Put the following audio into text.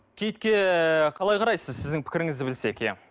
киітке қалай қарайсыз сіздің пікіріңізді білсек иә